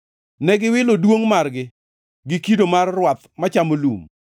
Ne giwilo Duongʼ margi gi kido mar rwath machamo lum.